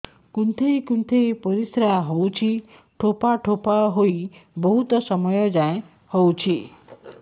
କୁନ୍ଥେଇ କୁନ୍ଥେଇ ପରିଶ୍ରା ହଉଛି ଠୋପା ଠୋପା ହେଇ ବହୁତ ସମୟ ଯାଏ ହଉଛି